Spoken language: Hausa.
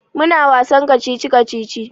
Muna wasan kacici-kacici.